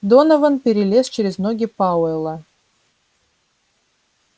донован перелез через ноги пауэлла